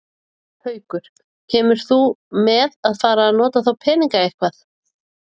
Haukur: Kemur til með að fara að nota þá peninga eitthvað?